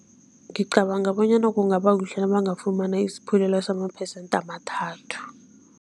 Ngicabanga bonyana kungaba kuhle nabangafumana isaphulelo samaphesente amathathu.